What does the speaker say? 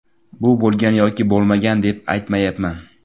Bu bo‘lgan yoki bo‘lmagan deb aytmayapman.